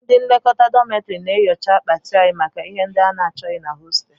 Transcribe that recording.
Ndị nlekọta dọmịtọrị na-enyocha akpati anyị maka ihe ndị achọghị na hostel